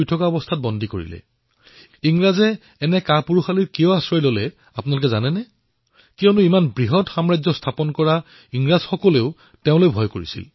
কিন্তু আপোনালোকে জানে নে ইংৰাজসকলে এনে কাপুৰুষালি কাম কিয় কৰিলে কাৰণ ইমান ডাঙৰ সাম্ৰাজ্য থিয় কৰোৱা ইংৰাজেও তেওঁক ভয় কৰিছিল